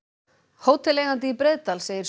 hóteleigandi í Breiðdal segir